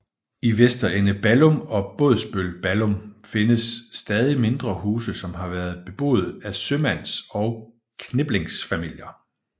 I Vesterende Ballum og i Bådsbøl Ballum findes stadig mindre huse som har været beboet af sømands og kniplings familier